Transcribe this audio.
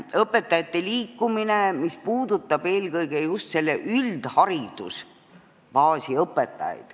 Õpetajate liikumine, mis puudutab eelkõige just üldharidusbaasi õpetajaid.